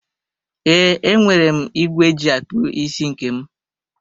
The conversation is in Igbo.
Ee, enwere m ìgwè eji akpụ isi nke m.